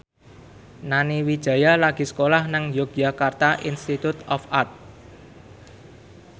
Nani Wijaya lagi sekolah nang Yogyakarta Institute of Art